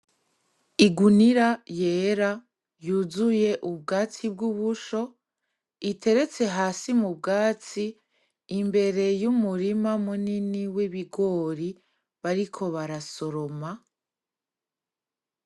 Igunira yera yuzuye ubwatsi bw'ubusho iteretse hasi mubwatsi imbere y'umurima munini w'ibigori bariko barasoroma .